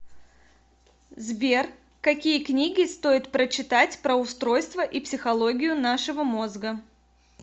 сбер какие книги стоит прочитать про устройство и психологию нашего мозга